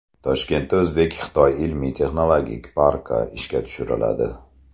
Toshkentda o‘zbek-xitoy ilmiy-texnologik parki ishga tushiriladi.